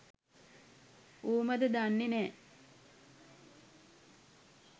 ඌමද දන්නේ නෑ